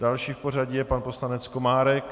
Další v pořadí je pan poslanec Komárek.